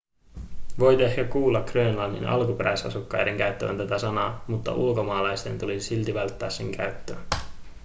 voit ehkä kuulla grönlannin alkuperäisasukkaiden käyttävän tätä sanaa mutta ulkomaalaisten tulisi silti välttää sen käyttöä